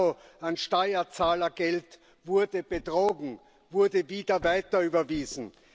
Euro an Steuerzahlergeld wurde betrogen, wurde wieder weiterüberwiesen.